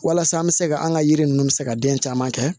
Walasa an bɛ se ka an ka yiri ninnu bɛ se ka den caman kɛ